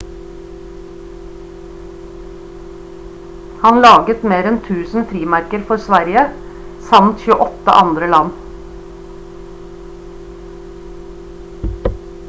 han laget mer enn 1000 frimerker for sverige samt 28 andre land